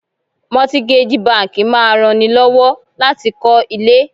Mọ́tígájì báńkì máa ran ni lọ́wọ́ láti kọ́ ilé.